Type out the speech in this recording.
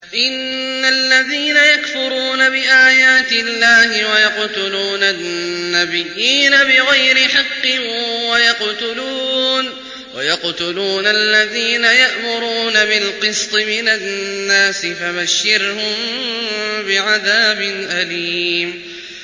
إِنَّ الَّذِينَ يَكْفُرُونَ بِآيَاتِ اللَّهِ وَيَقْتُلُونَ النَّبِيِّينَ بِغَيْرِ حَقٍّ وَيَقْتُلُونَ الَّذِينَ يَأْمُرُونَ بِالْقِسْطِ مِنَ النَّاسِ فَبَشِّرْهُم بِعَذَابٍ أَلِيمٍ